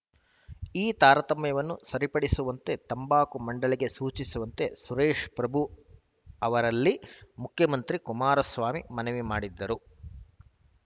ಈ ತಾರತಮ್ಯವನ್ನು ಸರಿಪಡಿಸುವಂತೆ ತಂಬಾಕು ಮಂಡಳಿಗೆ ಸೂಚಿಸುವಂತೆ ಸುರೇಶ್‌ ಪ್ರಭು ಅವರಲ್ಲಿ ಮುಖ್ಯಮಂತ್ರಿ ಕುಮಾರಸ್ವಾಮಿ ಮನವಿ ಮಾಡಿದರು